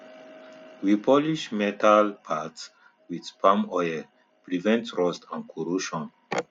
we polish metal parts with palm oil prevent rust and corrosion